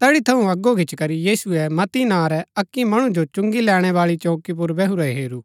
तैड़ी थऊँ अगो गिचीकरी यीशुऐ मत्ती नां रै अक्की मणु जो चुंगी लैणै बाळी चौकी पुर बैहुरा हेरू